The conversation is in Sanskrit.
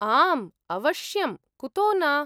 आम्, अवश्यं, कुतो न?